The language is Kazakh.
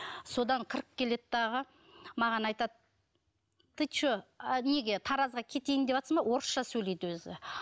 содан кіріп келеді дағы маған айтады ты че а неге таразға кетейін деватсың ба орысша сөйлейді өзі